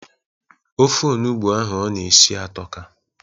Ofe onugbo ahụ ọ na-esi atọka.